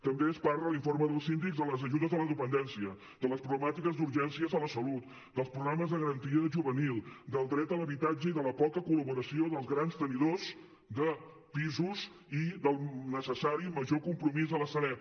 també es parla a l’informe del síndic de les ajudes a la dependència de les problemàtiques d’urgències a la salut dels problemes de garantia juvenil del dret a l’habitatge i de la poca col·laboració dels grans tenidors de pisos i del necessari i major compromís de la sareb